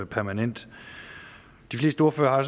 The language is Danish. permanent de fleste ordførere har